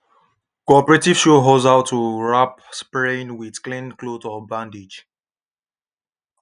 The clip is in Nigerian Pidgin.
cooperative show us how to wrap sprain with clean cloth or bandage